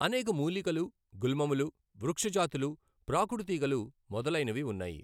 అనేక మూలికలు, గుల్మములు, వృక్షజాతులు, ప్రాకుడుతీగలు మొదలైనవి ఉన్నాయి.